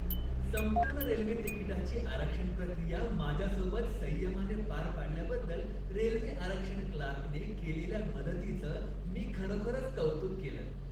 संपूर्ण रेल्वे तिकीटाची आरक्षण प्रक्रिया माझ्यासोबत संयमाने पार पाडल्याबद्दल रेल्वे आरक्षण क्लार्कने केलेल्या मदतीचं मी खरोखरच कौतुक केलं.